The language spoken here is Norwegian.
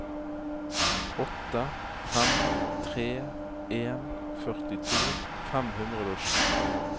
åtte fem tre en førtito fem hundre og sju